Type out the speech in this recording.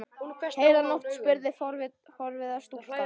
Heila nótt? spurði forviða stúlka.